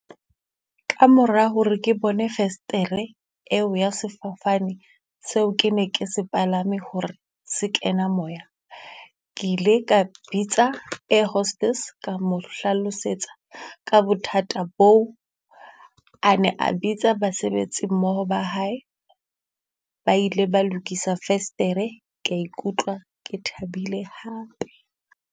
Kamora hore ke bone festere eo ya sefofane seo ke ne ke se palame hore se kena moya. Ke ile ka bitsa air hostess, ka hlalosetsa ka bothata boo. A ne a bitsa basebetsi mmoho ba hae, ba ile ba lokisa festere ka ikutlwa ke thabile hape.